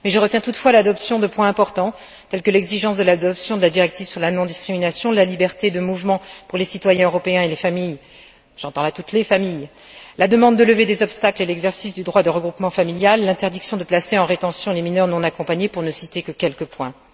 Mais je retiens toutefois l'adoption de points importants, tels que l'exigence de l'adoption de la directive sur la non discrimination, la liberté de mouvement pour les citoyens européens et les familles j'entends là toutes les familles la demande de levée des obstacles à l'exercice du droit au regroupement familial, l'interdiction de placer en rétention les mineurs non accompagnés, pour ne citer que quelques points.